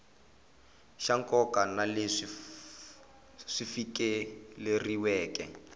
xa nkoka na leswi fikeleriweke